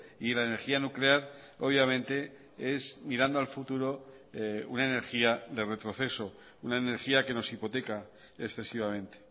y la energía nuclear obviamente es mirando al futuro una energía de retroceso una energía que nos hipoteca excesivamente